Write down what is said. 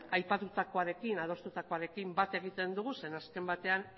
aipatutakoarekin adostutakoarekin bat egiten dugu zeren azken batean